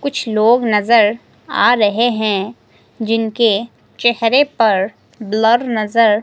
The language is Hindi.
कुछ लोग नजर आ रहे हैं जिनके चेहरे पर ब्लर नजर--